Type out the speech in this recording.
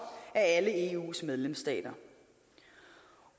af alle eus medlemsstater